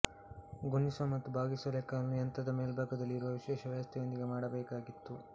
ಗುಣಿಸುವ ಮತ್ತು ಭಾಗಿಸುವ ಲೆಕ್ಕಗಳನ್ನು ಯಂತ್ರದ ಮೇಲ್ಬಾಗದಲ್ಲಿ ಇರುವ ವಿಶೇಷ ವ್ಯವಸ್ಥೆಯೊಂದಿಗೆ ಮಾಡಬೇಕಾಗಿತ್ತು